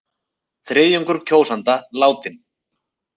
Þriðjungur kjósenda látinn